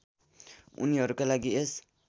उनीहरूका लागि यस